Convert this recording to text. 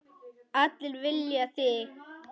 Allir vilja þig.